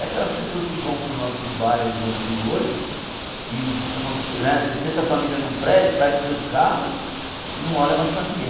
É aquelas pessoas que vão para os nossos bairros antigos hoje, e cons né sessenta famílias em um prédio, saem com seus carros e não olham mais para ninguém.